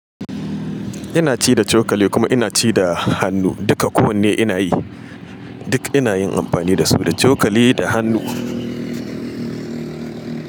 Ina ci da cokali kuma ina ci da hannu. Duka ko wanne ina yi, duk ina yin amfani da su, da cokali da hannu.